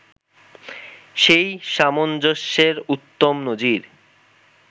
সেই সামঞ্জস্যের উত্তম নজির